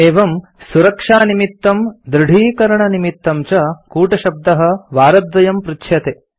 एवं सुरक्षानिमित्तं दृढीकरणनिमित्तं च कूटशब्दः वारद्वयं पृच्छ्यते